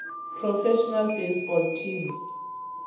professional baseball teams